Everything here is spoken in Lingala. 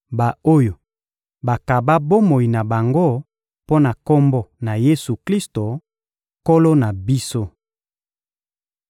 ba-oyo bakaba bomoi na bango mpo na Kombo na Yesu-Klisto, Nkolo na biso.